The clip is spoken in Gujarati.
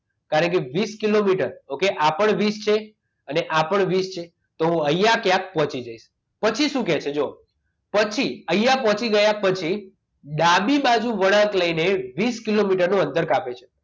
કારણકે વીસ કિલોમીટર okay આ પણ વીસ છે અને આ પણ વીસ છે તો હું અહીંયા ક્યાં પહોંચી જઈશ પછી શું કહે છે જો પછી અહીંયા પહોંચી ગયા પછી ડાબી બાજુ વળાંક લઈને વીસ કિલોમીટરનું અંતર કાપશે કાપે છે